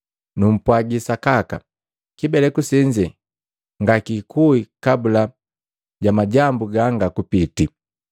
Numpwagi sakaka, kibeleku senze ngakikui kabula ja majambu ganga kupiti.